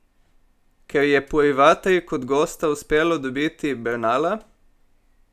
Ker je Purivatri kot gosta uspelo dobiti Bernala?